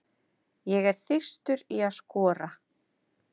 Ég er þyrstur í að skora.